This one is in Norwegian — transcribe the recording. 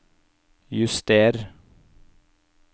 juster